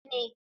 Kunne na ji ne.